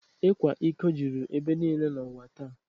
Ịkwa iko juru ebe niile n’ụwa taa